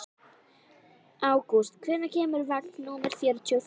Ágúst, hvenær kemur vagn númer fjörutíu og fjögur?